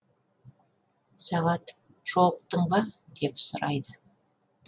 сағат жолықтың ба деп сұрайды